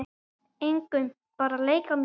Engum, bara að leika mér